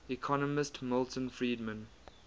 economist milton friedman